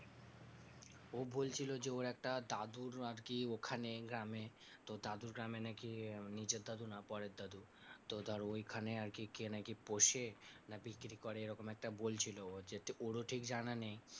ও বলছিলো যে ওর একটা দাদুর আরকি ওখানে গ্রামে তো দাদুর গ্রামে নাকি নিজের দাদু না পরের দাদু, তো ধর ওইখানে আরকি কে নাকি পোষে না বিক্রি করে, এরকম একটা বলছিল যে ওরও ঠিক জানা নেই।